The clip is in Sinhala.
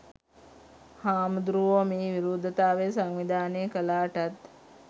හාමුදුරුවෝ මේ විරෝධතාවය සංවිධානය කළාටත්